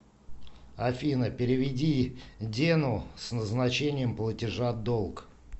афина переведи дену с назначением платежа долг